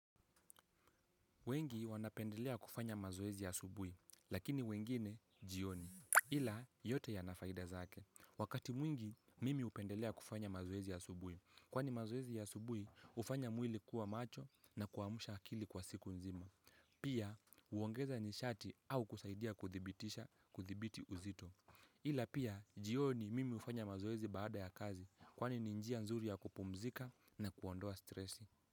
Wengi wanapendelea kufanya mazoezi asubui, lakini wengine, jioni. Ila, yote ya nafaida zake. Wakati mwingi, mimi upendelea kufanya mazoezi ya subui. Kwani mazoezi ya asubui, hufanya mwili kuwa macho na kuamsha akili kwa siku nzima. Pia, huongeza nishati au kusaidia kuthibitisha kuthibiti uzito. Ila pia, jioni mimi hufanya mazoezi baada ya kazi, kwani ni njia nzuri ya kupumzika na kuondoa stresi.